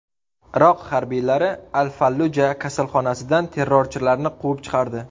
Iroq harbiylari Al-Falluja kasalxonasidan terrorchilarni quvib chiqardi.